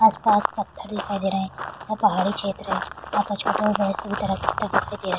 आस-पास पत्थर दिखाई दे रहे हैं यहाँ पहाड़ी क्षेत्र है यहाँ दिखाई दे रहा --